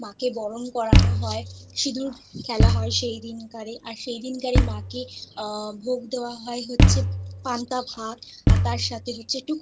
পান দিয়ে তাকে মাকে বরণ করানো হয় সিঁদুর খেলা হয় সেই দিনকারে আর সেই দিনকারে মা কে আ ভোগ দেওয়া হয় হচ্ছে পান্তা ভাত আর তার সাথে হচ্ছে